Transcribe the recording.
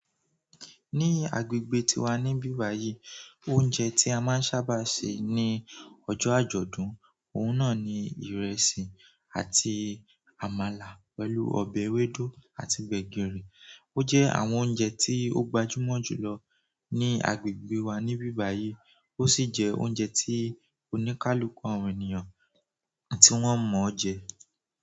Ní agbègbè tiwa níbi báyìí, oúnjẹ tí a máa ń sábà se ní ọjọ́ àjọ̀dún, òun náà ni ìrẹsì àti àmàlà pẹ̀lú ọbẹ̀ ewédú àti gbẹ̀gìrì. Ó jẹ́ àwọn oúnjẹ tí ó gbajúmọ̀ jù lọ ní agbègbè wa níbí báyìí, ó sì jẹ́ oúnjẹ tí oníkálukú àwọn ènìyàn tí wọ́n mọ̀ jẹ.